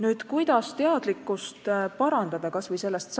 Nüüd, kuidas inimeste teadlikkust tõsta?